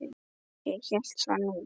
Ég hélt það nú.